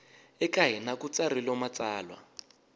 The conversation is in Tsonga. eka hina ku tsarilo matsalwa